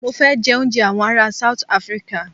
Mọ fẹ jẹ òúnjẹ awọn ará South Africa.